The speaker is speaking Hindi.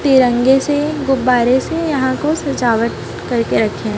तिरंगे से गुब्बारे से यहां को सजावट करके रखे हैं।